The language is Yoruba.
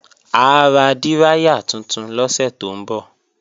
A ra díráyà tuntun lọ́sẹ̀ tó ń bọ̀